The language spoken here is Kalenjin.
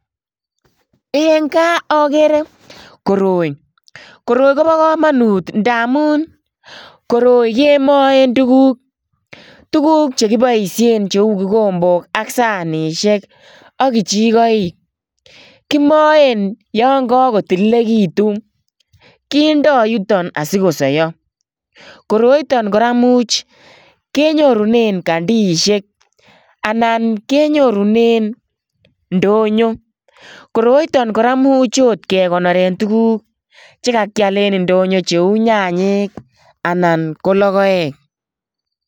Eng kaa agere koroi, koroi kobo kamanut ndamun koroi kemoen tuguk. Tuguk che kiboisien cheu kikombok ak sanisiek ak kichikoik. Kimoen yon kakotililekitun. Kindo yutok asikosoiyo. Koroito kora imuch, kenyorune kandiisiek anan kenyorunen ndonyo. Koroiton kora imuch oot kekinoren tuguk chekakial en ndonyo cheu nyanyek anan ko logoek.